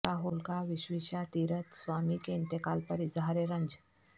راہل کا وشویشا تیرتھ سوامی کے انتقال پر اظہار رنج